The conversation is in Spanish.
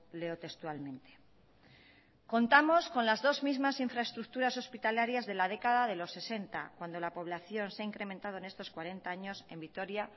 leo textualmente contamos con las dos mismas infraestructuras hospitalarias de la década de los sesenta cuando la población se ha incrementado en estos cuarenta años en vitoria